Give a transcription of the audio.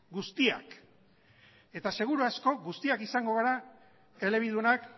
guztiak eta seguru asko guztiak izango gara elebidunak